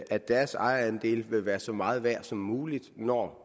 at deres ejerandele vil være så meget værd som muligt når